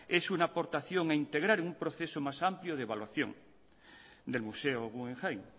es una aportación a integrar en un proceso más amplio de evaluación del museo guggenheim